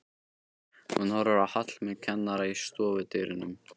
Hún horfir á Hallmund kennara í stofudyrunum.